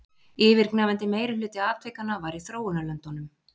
Yfirgnæfandi meirihluti atvikanna var í þróunarlöndunum